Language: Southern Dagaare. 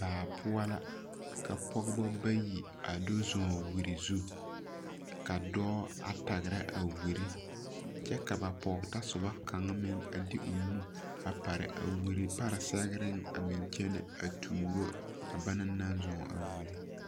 Baa poʊ la. Ka poge bayi a do zɔn wure zu. Ka doɔ a tagra a wure. Kyɛ ka ba poge tasuba kanga meŋ a de o nu a pare a wure pare sɛŋreŋ a meŋ kyene a tooro a bana naŋ zɔŋ a wure